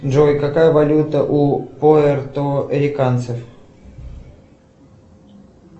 джой какая валюта у пуэрториканцев